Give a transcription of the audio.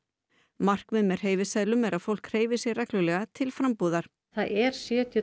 markmið með hreyfiseðlum er að fólk hreyfi sig reglulega til frambúðar það er sjötíu og